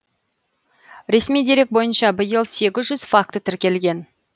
ресми дерек бойынша биыл сегіз жүз факті тіркелген